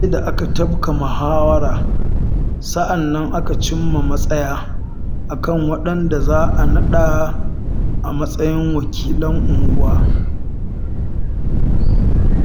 Sai da aka tafka muhawara sannan aka cimma matsaya a kan waɗanda za a naɗa a matsayin wakilan unguwa